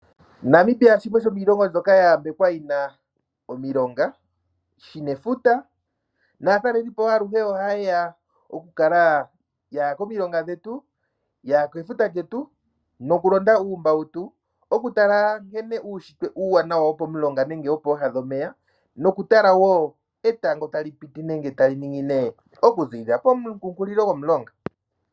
Namibia shimwe shomiilongo mbyoka ya yambekwa yi na omilonga, shi na efuta naatalelipo aluhe ohaye ya, ye ya komilonga dhetu, ye ya kefuta lyetu nokulonda uumbautu okutala nkene uunshitwe uuwanawa womulonga nenge woopooha dhomeya nokutala wo nkene etango tali piti nenge tali ningine okuziilila poonkukulo dhomulonga.